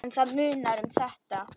En það munar um þetta.